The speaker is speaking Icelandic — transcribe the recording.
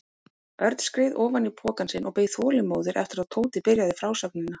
Örn skreið ofan í pokann sinn og beið þolinmóður eftir að Tóti byrjaði frásögnina.